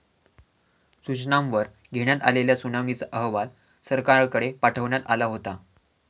सूचनांवर घेण्यात आलेल्या सुनावणीचा अहवाल सरकारकडे पाठवण्यात आला होता.